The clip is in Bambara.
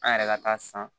An yɛrɛ ka taa san